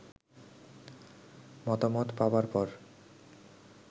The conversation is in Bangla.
মতামত পাবার পর